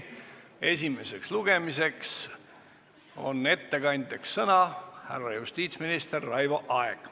Esimesel lugemisel on ettekandeks sõna härra justiitsminister Raivo Aegil.